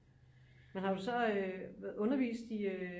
Men har du så undervist i øh